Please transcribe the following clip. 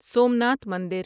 سومناتھ مندر